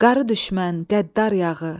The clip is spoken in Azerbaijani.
Qarı düşmən, qəddar yağı!